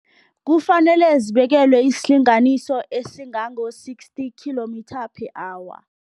Kufanele zibekelwe isilinganiso esingango-sixty kilometre per hour.